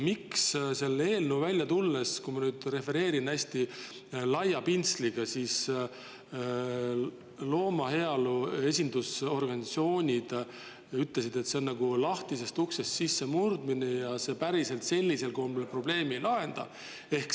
Miks ütlesid loomade heaolu eest seisvad esindusorganisatsioonid selle eelnõu väljatulemise peale – ma nüüd refereerin hästi laia pintsliga –, et see on nagu lahtisest uksest sissemurdmine ja see sellisel kombel probleemi päriselt ei lahenda?